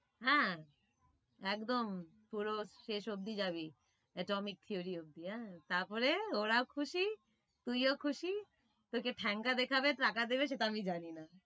হ্যাঁ, একদম পুরো শেষ অবধি যাবি atomic theory অবধি আহ তারপরে ওরাও খুশি তুইও খুশি তোকে ঠাঙ্গা দেখাবে টাকা দেবে, সেটা আমি জানি না।